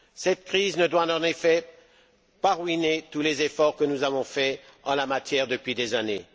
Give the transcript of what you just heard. Cette crise ne doit pas, en effet, ruiner tous les efforts que nous avons faits en la matière depuis des années.